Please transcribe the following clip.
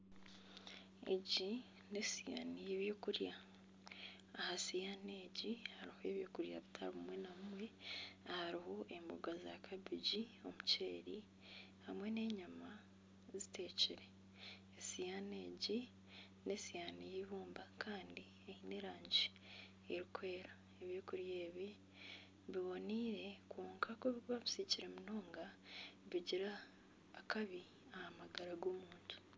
Egi n'esiyaani y'ebyokurya. Aha siyaani egi hariho ebyokurya by'omuringo gutari gumwe na gumwe. Hariho emboga za kabegi n'omuceeri hamwe n'enyama ziteekire. Siyaani enkye n'esiyaani y'eibumba kandi eine erangi erikwera. Ebyokurya ebi biboneire kwonka ku orikuba obisiikire munonga bigira akabi aha magara g'omuntu.